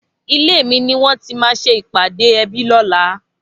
Ilé mi niwòn ti mà sé ipàdé èbí lòlá